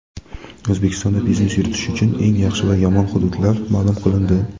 O‘zbekistonda biznes yuritish uchun eng yaxshi va yomon hududlar ma’lum qilindi.